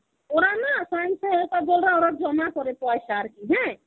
ওরা না জন্যে ওরা জমা করে পয়সা আর কি হ্যাঁ.